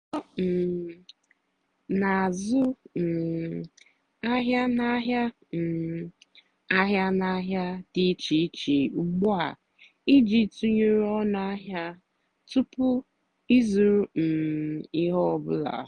ọ́ um nà-àzụ́ um àhịá n'àhịá um àhịá n'àhịá dì íché íché ùgbúà ìjì tụ́nyeré ónú àhịá túpú ị́zụ́rụ́ um íhé ọ́ bụ́là.